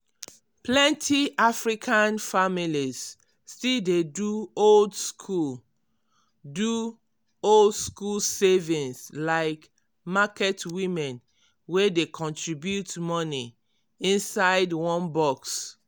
plenty african families still dey do old-school do old-school savings like market women wey dey contribute money inside one box.